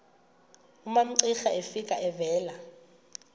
umamcira efika evela